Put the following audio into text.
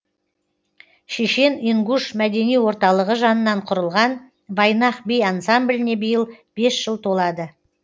шешен ингуш мәдени орталығы жанынан құрылған вайнах би ансамбліне биыл бес жыл толады